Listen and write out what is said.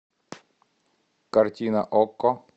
картина окко